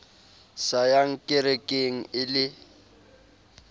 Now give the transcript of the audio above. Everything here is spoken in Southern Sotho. sa yang kerekeng e le